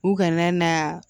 U kana na